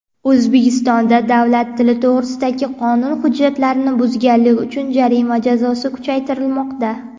O‘zbekistonda davlat tili to‘g‘risidagi qonun hujjatlarini buzganlik uchun jarima jazosi kuchaytirilmoqda.